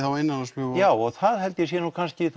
innanlandsflug já og það held ég að sé kannski